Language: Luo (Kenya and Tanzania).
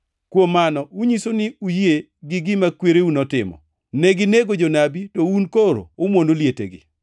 Kuom mano unyiso ni uyie gi gima kwereu notimo, neginego jonabi, to un to koro umwono lietegi.